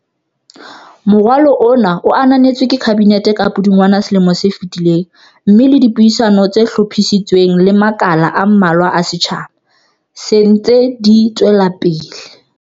Moralo ona o ananetswe ke Kabinete ka Pudungwana selomong se fetileng mme le dipuisano tse hlophisitsweng le makala a mmalwa a setjha ba, se dintse di tswelapele.